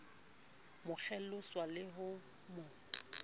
mo kgelosa le ho mo